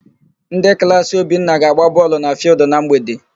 Ndị klaasị Obinna ga-agba bọọlụ na fịịldụ na mgbede.